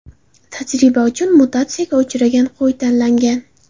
Tajriba uchun mutatsiyaga uchragan qo‘y tanlangan.